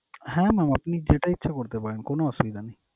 হ্যাঁ mam আপনি যেটা ইচ্ছা করতে পারেন, কোন অসুবিধা নেই।